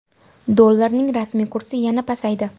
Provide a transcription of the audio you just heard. Dollarning rasmiy kursi yana pasaydi.